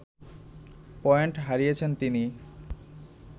point হারিয়েছেন তিনি